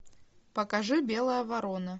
покажи белая ворона